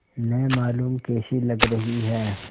न मालूम कैसी लग रही हैं